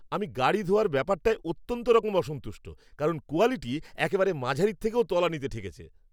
আমি গাড়ি ধোয়ার ব্যাপারটায় অত্যন্তরকম অসন্তুষ্ট কারণ কোয়ালিটি একেবারে মাঝারির থেকেও তলানিতে ঠেকেছে।